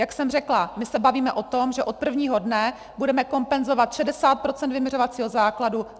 Jak jsem řekla, my se bavíme o tom, že od prvního dne budeme kompenzovat 60 % vyměřovacího základu.